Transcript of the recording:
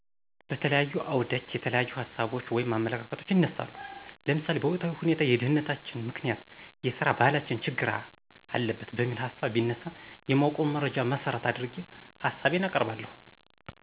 በተለያዩ አዉደች የተለያዪሀሳቦች (አመለካከቶች)ይነሳሉ ለምሳሌ በወቅታዊሁኔታ የድህነተችን ምከንያት የሰራባህላችን ችግር አለበት በሚል ሀሳብ ቢነሳ የማወቀዉን መረጃን መሠረት አድርጌ ሀሳቤን አቀርባለሁ።